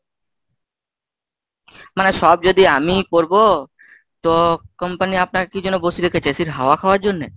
মানে সব যদি আমিই করবো তো company আপনাকে কি জন্য বসিয়ে রেখেছে AC র হাওয়া খাওয়ার জন্যে?